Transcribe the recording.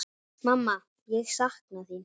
Mamma, ég sakna þín.